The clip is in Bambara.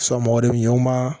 mɔgɔ de bi ɲɛn u ma